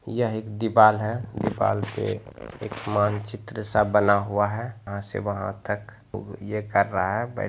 यह एक दीवाल है दीवाल पे एक मान चित्र सा बना हुआ है यहाँसे वहा तक लोग ये कर रहा है बैठा हुआ है।